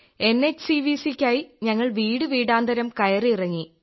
എൻഎച്ചിവിസി യ്ക്കായി ഞങ്ങൾ വീടു വീടാന്തരം കയറിയിറങ്ങി